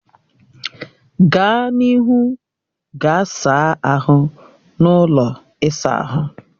Gaa n'ihu gaa saa ahụ n'ụlọ ịsa ahụ